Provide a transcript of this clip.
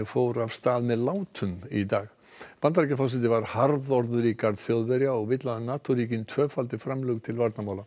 fór af stað með látum í dag Bandaríkjaforseti var harðorður í garð Þjóðverja og vill að NATO ríkin tvöfaldi framlög til varnarmála